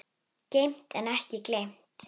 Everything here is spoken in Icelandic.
Geymt en ekki gleymt